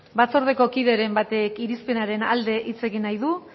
batzordeko kideren batek irizpenaren alde hitz egin nahi du